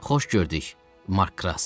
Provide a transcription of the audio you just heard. Xoş gördük, Mark Kras.